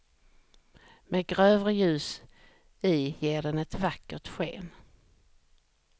Med grövre ljus i ger den ett vackert sken.